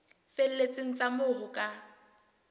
felletseng tsa moo ho ka